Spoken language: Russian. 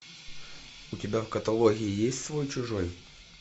у тебя в каталоге есть свой чужой